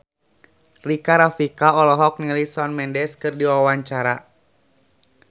Rika Rafika olohok ningali Shawn Mendes keur diwawancara